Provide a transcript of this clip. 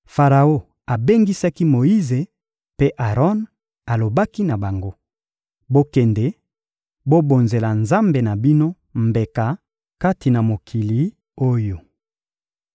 Faraon abengisaki Moyize mpe Aron, alobaki na bango: — Bokende, bobonzela Nzambe na bino mbeka kati na mokili oyo.